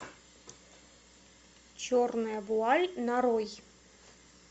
черная вуаль нарой